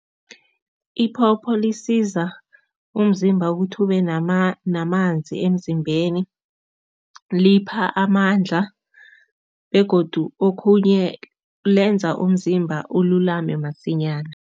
Iphopho lisiza umzimba ukuthi ube namanzi emzimbeni, lipha amandla begodu okhunye lenza umzimba ululame masinyana.